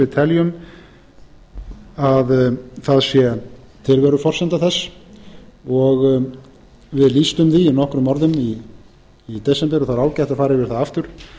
mikla áherslu á almannaútvarpshlutverk ríkisútvarpsins við teljum að það sé tilveruforsenda þess við lýstum því í nokkrum orðum í desember og það er ágætt að fara yfir það aftur